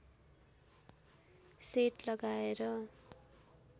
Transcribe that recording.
set लगाएर